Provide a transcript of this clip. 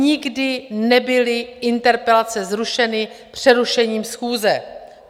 Nikdy nebyly interpelace zrušeny přerušením schůze!